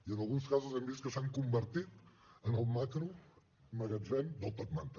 i en alguns casos hem vist que s’han convertit en el macromagatzem del top manta